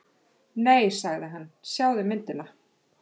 Nei sagði hann, sjáðu myndina.